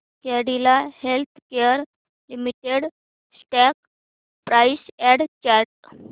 Cadila healthcare limited stock price and chart